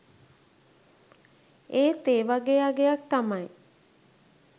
ඒත් ඒ වගේ අගයක් තමයි